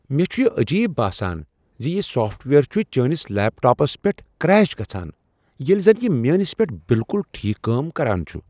مےٚ چھ یہ عجیب باسان زِ یِہ سافٹ ویئر چھ چٲنس لیپ ٹاپس پیٹھ کریش گژھان ییٚلہ زن یہ میٲنس پیٹھ بالکل ٹھیک کٲم کران چھُ۔